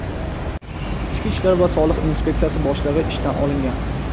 ichki ishlar va soliq inspeksiyasi boshlig‘i ishdan olingan.